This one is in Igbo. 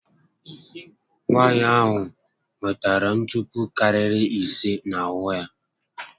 Nwaànyị ahụ nwetere ntupu karịrị ise n'ahụ ya